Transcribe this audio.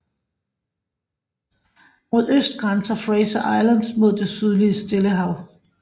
Mod øst grænser Fraser Island mod det sydlige Stillehav